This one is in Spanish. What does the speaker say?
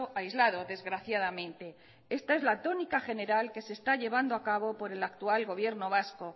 aislado desgraciadamente esta es la tónica general que se está llevando a cabo por el actual gobierno vasco